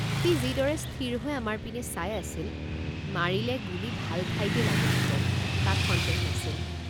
সি যিদৰে স্থিৰহৈ আমাৰ পিনে চাই আছিল মাৰিলে গুলী ভাল ঠাইতেই লাগিলহেঁতেন তাত সন্দেহ নাছিল।